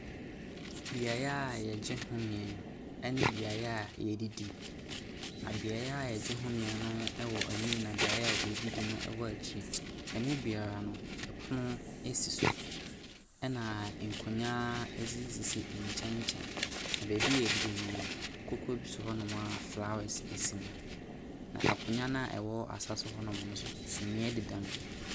Beaeɛ a yɛgye home ne beaeɛ a yɛdidi, na beaeɛ yɛgye homeɛ no wɔ anim na beaeɛ a yɛdidi no wɔ akyire. Emu biara no, ɛpono si so, na nkonnwa sisi nkyɛnkyɛn. Na baabi a yɛredidi no, koko bi si hɔ nom a flowers si ho. Na akonnwa a ɛwɔ asa so hɔ no, sumiiɛ deda mu.